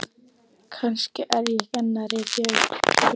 Kannski er ég enn að rifja upp draum.